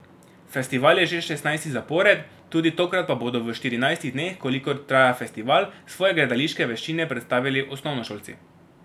Festival je že šestnajsti zapored, tudi tokrat pa bodo v štirinajstih dneh, kolikor traja festival, svoje gledališke veščine predstavili osnovnošolci.